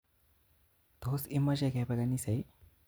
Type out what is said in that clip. Tos imoche kepe kanisa ii?